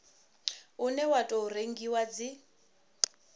une wa tou rengiwa dzi